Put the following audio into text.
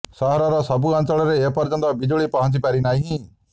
ସହରର ସବୁ ଅଞ୍ଚଳରେ ଏ ପର୍ଯ୍ୟନ୍ତ ବିଜୁଳି ପହଞ୍ଚିପାରି ନାହିଁ